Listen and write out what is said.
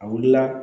A wulila